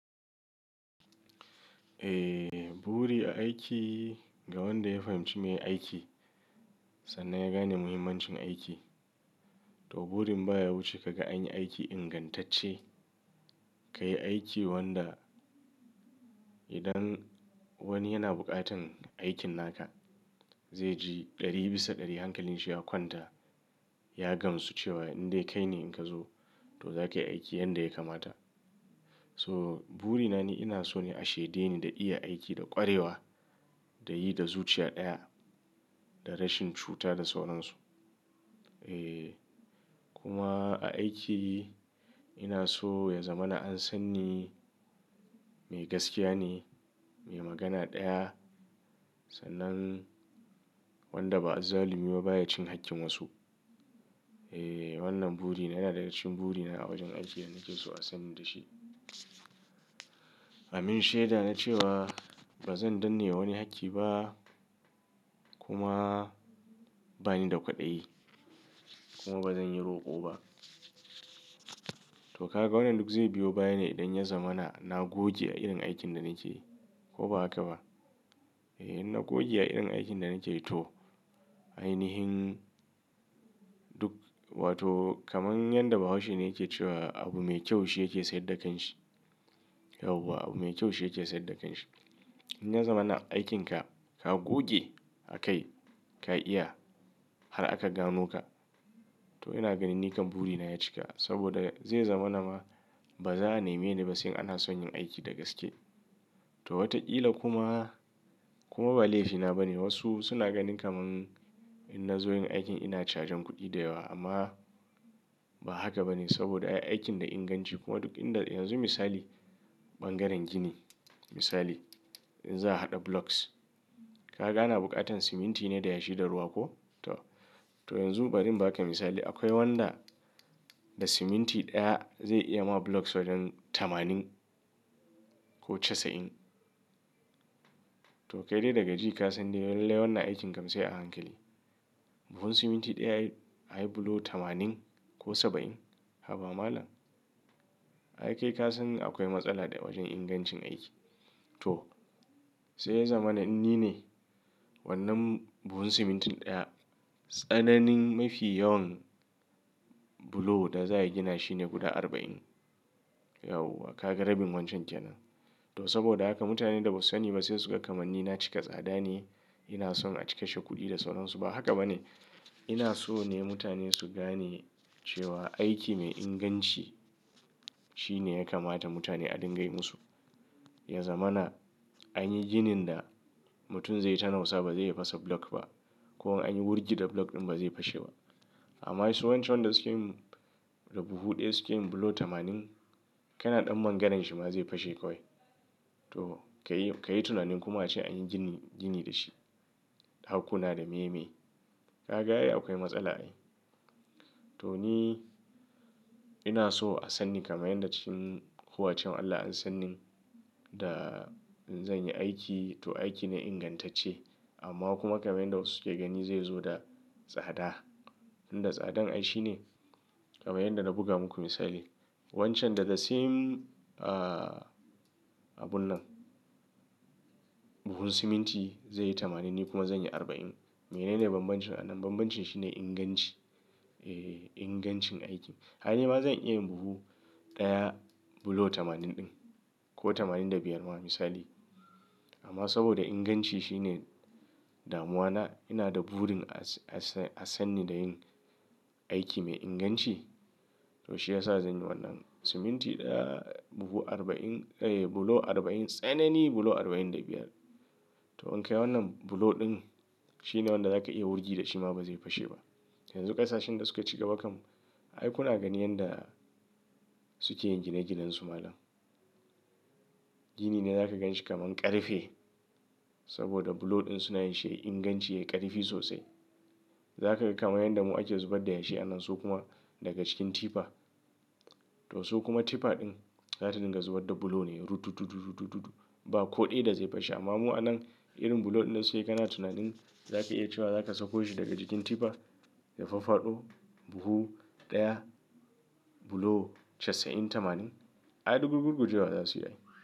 Eh, buri a aiki ga wanda ya fahimci me ye aiki sannan ya gane muhimmancin aiki. To burin baya wuce kaga anyi aiki ingantacce, ka yi aiki wanda idan wani yana bukatan aikin naka zai ji ɗari bisa ɗari hankalinshi ya kwanta. Ya gamsu cewa in dai kai ne in ka zo to za ka yi aiki yanda ya kamata. So buri na ni ina so ne a shaide ni da iya aiki da ƙwarewa da yi da zuciyar ɗaya da rashin cuta da sauransu. Eh kuma a aiki ina so ya zama na an san ni mai gaskiya ne, mai magana ɗaya sannan wanda ba azzalumi ba baya cin hakkin wasu. Eh wannan buri na yana daga cikin buri na a wajen aiki da nake so a sani da shi. Amin shaida na cewa ba zan danne wa wani hakki ba kuma bani da kwaɗayi kuma ba zan yi roƙo ba. To kaga wannan duk zai biyo baya ne idan ya zama na, na goge a irin aikin da nake yi ko ba haka ba? Eh in na goge a irin aikin da nake yi to ainihin duk wato kamar yadda bahaushe ne yake cewa abu mai kyau shi yake sayar da kanshi. Yau wa abu mai kyau shi yake sayar da kanshi. In ya zama na aikinka ka goge a kai ka iya har aka gano ka to ina ganin nikan buri na ya cika. Saboda zai zama na ma ba za a nemi ni ba sai in ana son yin aiki da gaske. To wataƙila kuma, kuma ba laifina ba ne wasu suna ganin kamar in na zo yin aikin ina cajan kuɗi da yawa amma ba haka ba ne saboda aikin da inganci kuma duk inda yanzu misali ɓangaren gini misali in za a haɗa blocks ka ga ana bukatan siminti ne da yashi da ruwa ko? To, to yanzu barin ba ka misali akwai wanda da siminti ɗaya zai iya ma blocks wajen tamanin ko casa'in. To kai dai daga ji ka san dai lai lai wannan aikin kam sai a hankali. Buhun siminti ɗaya ai, ayi block tamanin ko saba'in. Haba malam? Ai kai ka san akwai matsala da wajen ingancin aiki. To sai ya zama na in ni ne wannan buhun simintin ɗaya tsananin mafi yawan block da za a gina shine guda arba'in. Yauwa ka ga rabin wancan kenan. To saboda haka mutanen da ba su sani ba sai suga kamanni na cika tsada ne, ina son a cika kashe kuɗi da sauransu ba haka ba ne. Ina so ne mutane su gane cewa aiki mai inganci shine ya kamata mutane a dinga yi musu. Ya zama na anyi ginin da mutum zai yi ta nausa ba zai iya fasa block ba. Ko an yi wurgi da block ɗin ba zai fashe ba. Amma su wancan wanda suke yin da buhu ɗaya suke yin block tamanin. Kana ɗan mangaran shi ma zai fashe kawai. To ka yi, ka yi tunanin kuma ace anyi gini, gini da shi ɗakuna da meye meye. Ka ga ai akwai matsala ai. To ni ina so a sanni kaman yanda cikin huwace wan Allah an san nin da in zan yi aiki to aiki ne ingantacce amma kuma kaman yanda wasu suke gani zai zo da tsada. Inda tsadan ai shine kamar yadda na buga muku misali. Wancan da the same ah abun nan buhun siminti zai yi tamanin ni kuma zan yi arba'in. Menene bambancin anan? Bambancin shi ne inganci. Eh ingancin aiki. Ai ni ma zan iya yin buhu ɗaya block tamanin ɗin ko tamanin da biyar ma misali. Amma saboda inganci shi ne damuwa na ina da burin a, a sani da yin aiki mai inganci. To shi ya sa zan yi wannan siminti ɗaya buhu arba'in eh block arba'in tsanani block arba'in da biyar. To in ka yi wannan block ɗin shi ne wanda za ka iya wurgi da shi ma ba zai fashe ba. Yanzu ƙasashen da suka cigaba kam ai kuna ganin yanda suke yin gine ginen su malam. Gini ne za ka ganshi kamar ƙarfe saboda block ɗin suna yin shi yayi ingancin yayi ƙarfi sosai. Za ka ga kamar yanda mu ake zubar da yashi anan su kuma daga cikin tipper. To so kuma tipper ɗin za ta dinga zubar da block ne ruɗ, ruɗ, ruɗ, ruɗ, ruɗ, ruɗ, ruɗ ba ko ɗaya da zai fashe. Amma mu anan irin block ɗin da suke yi kana tunanin za ka iya cewa za ka sako shi daga cikin tipper ya faffaɗo buhu ɗaya block casa'in tamanin? Ai duk gurgujewa za su yi ai.